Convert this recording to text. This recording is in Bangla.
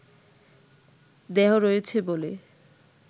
দেহ রয়েছে বলে